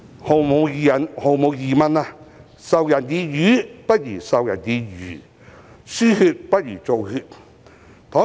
毫無疑問，"授人以魚，不如授人以漁"、"輸血不如造血"。